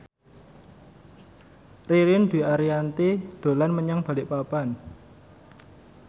Ririn Dwi Ariyanti dolan menyang Balikpapan